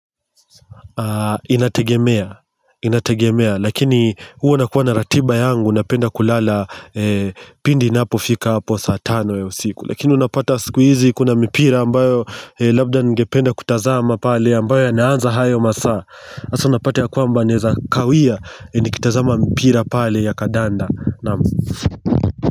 Inategemea Inategemea Lakini huo nakuwa na ratiba yangu Unapenda kulala pindi napofika saa tano ya usiku Lakini unapata siku hizi kuna mipira ambayo labda ningependa kutazama pale ambayo ya naanza hayo masaa Asa unapata ya kwamba naeza kawia Nikitazama mipira Pali ya kadanda.